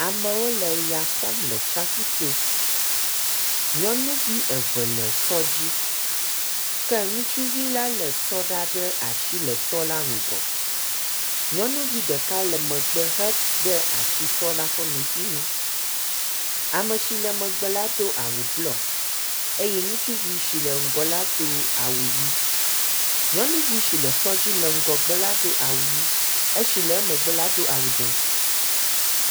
Amewo le ya xɔm le tsaƒu to. Nyɔnuvi eve le sɔ dzi ke ŋutsuvi la lé sɔ ɖa ɖe asi le sɔ la ŋgɔ. Nyɔnuvi ɖeka le megbe hede asi sɔ la ƒe meƒi nu. Ame si le megbe la do awu blɔ eye ŋutsuvi si le ŋgɔ la do awu ʋi. Nyɔnuvi si le sɔ dzi le ŋgɔgbe la do awu ʋi, esi le emegbe la do awu dzɛ̃.